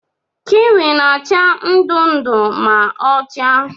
Kiwi na-acha ndụ ndụ ma ọ chaa.